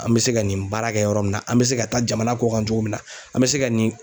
An bɛ se ka nin baara kɛ yɔrɔ min na, an bɛ se ka taa jamana kɔkan cogo min na, an bɛ se ka nin